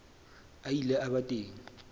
a ile a ba teng